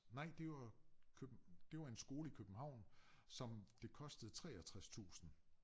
Nej det var køb det var en skole i København som det kostede 63 tusinde